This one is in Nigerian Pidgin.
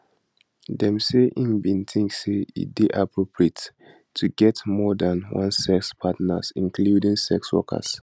dem say im bin tink say e dey appropriate to get more dan one sex partners including sex workers